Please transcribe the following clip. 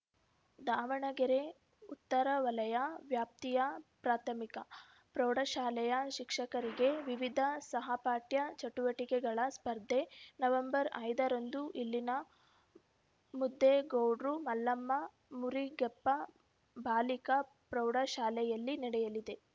ದಾವಣಗೆರೆ ಉತ್ತರ ವಲಯ ವ್ಯಾಪ್ತಿಯ ಪ್ರಾಥಮಿಕ ಪ್ರೌಢಶಾಲೆಯ ಶಿಕ್ಷಕರಿಗೆ ವಿವಿಧ ಸಹಪಠ್ಯ ಚಟುವಟಿಕೆಗಳ ಸ್ಪರ್ಧೆ ನವೆಂಬರ್ ಐದರಂದು ಇಲ್ಲಿನ ಮುದೇಗೌಡ್ರು ಮಲ್ಲಮ್ಮ ಮುರಿಗೆಪ್ಪ ಬಾಲಿಕಾ ಪ್ರೌಢಶಾಲೆಯಲ್ಲಿ ನಡೆಯಲಿದೆ